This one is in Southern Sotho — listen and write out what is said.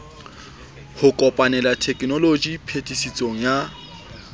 ho kopanela tekenoloji phetisetso ya